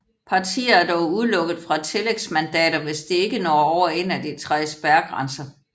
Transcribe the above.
Partier er dog udelukket fra tillægsmandater hvis de ikke når over en af de tre spærregrænser